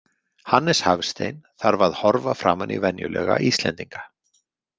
Hannes Hafstein þarf að horfa framan í venjulega Íslendinga.